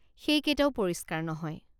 সেইকেইটাও পৰিষ্কাৰ নহয়।